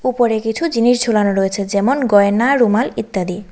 উপরে কিছু জিনিস ঝোলানো রয়েছে যেমন গয়না রুমাল ইত্যাদি।